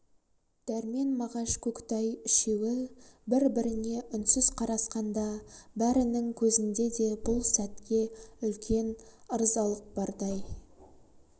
дәрмен мағаш көкітай үшеуі бір-біріне үнсіз қарасқанда бәрінің көзінде де бұл сөтке үлкен ырзалық бардай